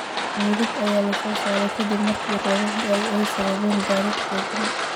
Meydad ayaa lasoo saaray kadib markii roobabkii da’ay ay sababeen daadad xooggan.